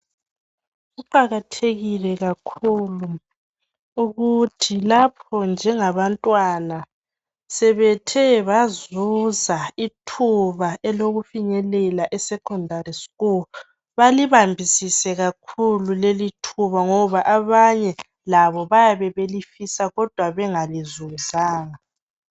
Kuqakathekile kakhulu ukuthi lapho njengabantwana sebethe bazuza ithuba elokufinyelela esecondary school balibambisise kakhulu lelithuba ngoba abanye labo bayabe belifisa kodwa bengalizuzanga.